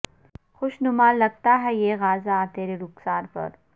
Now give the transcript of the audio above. خوش نما لگتا ہے یہ غازہ ترے رخسار پر